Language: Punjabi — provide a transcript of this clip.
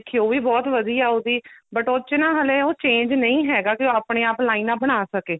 ਦੇਖੀਏ ਉਹ ਵੀ ਬਹੁਤ ਵਧੀਆ ਉਹਦੀ but ਉਸ ਚ ਨਾ ਹਲੇ ਉਹ change ਨਹੀਂ ਹੈਗਾ ਕਿ ਉਹ ਆਪਣੇ ਆਪ ਲਾਈਨਾ ਬਣਾ ਸਕੇ